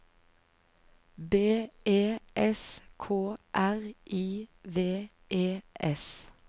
B E S K R I V E S